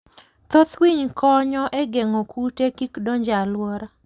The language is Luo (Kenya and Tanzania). Thoth winy konyo e geng'o kute kik donj e alwora.